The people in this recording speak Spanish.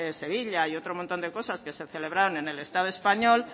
sevilla y otro montón de cosas que se celebraron en el estado español